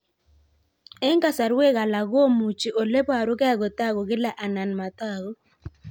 Eng' kasarwek alak komuchi ole parukei kotag'u kila anan matag'u